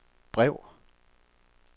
brev